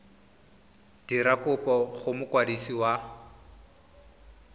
dira kopo go mokwadisi wa